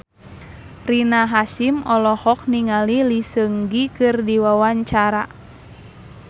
Rina Hasyim olohok ningali Lee Seung Gi keur diwawancara